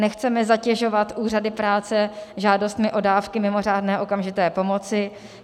Nechceme zatěžovat úřady práce žádostmi o dávky mimořádné okamžité pomoci.